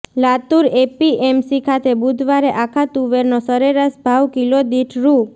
Latur APMC ખાતે બુધવારે આખા તુવેરનો સરેરાશ ભાવ કિલો દીઠ રૂ